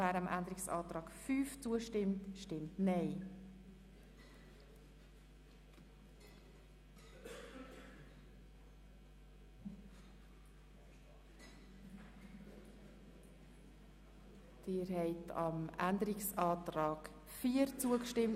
Im Voranschlag 2018 ist der Saldo der Produktgruppe 5.7.7 «Angebote für Menschen mit einem Pflege-, Betreuungs-, besonderen Bildungsbedarf» um CHF 8 Millionen zu erhöhen.